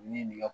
Ni nin ka